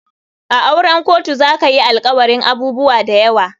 A auren kotu zakayi alkawarin abubuwa dayawa.